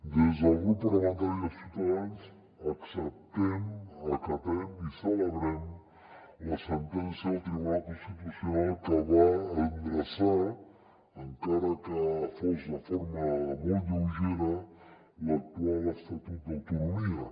des del grup parlamentari de ciuta·dans acceptem acatem i celebrem la sentència del tribunal constitucional que va endreçar encara que fos de forma molt lleugera l’actual estatut d’autonomia